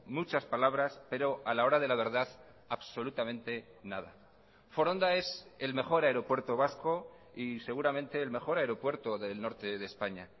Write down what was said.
muchas palabras pero a la hora de la verdad absolutamente nada foronda es el mejor aeropuerto vasco y seguramente el mejor aeropuerto del norte de españa